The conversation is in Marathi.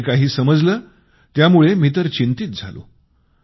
मला जे काही समजलं त्यामुळं मला आश्चर्य वाटले